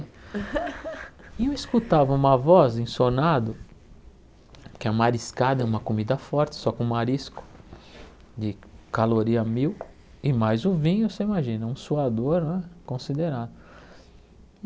E eu escutava uma voz, em sonado, que a mariscada é uma comida forte, só com marisco, de caloria mil, e mais o vinho, você imagina, um suador né considerável.